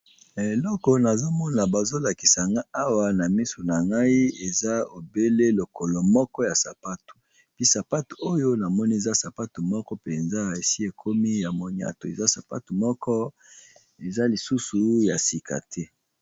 Eloko nazomona bazolakisanga awa na miso na ngai eza ebele lokolo moko ya sapatu mpi sapate oyo namoni eza sapate moko mpenza esi ekomi ya moniato eza sapatu moko eza lisusu ya sika te.